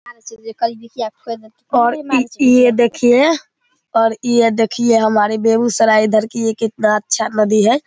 और ये देखिये और ये देखिये हमारे बेगूसराय इधर की ये कितना अच्छा नदी है।